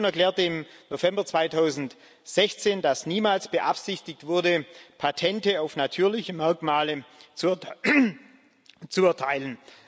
Die Kommission erklärte im November 2016, dass niemals beabsichtigt wurde, Patente auf natürliche Merkmale zu erteilen.